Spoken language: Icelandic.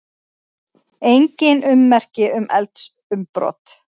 Engin ummerki um eldsumbrot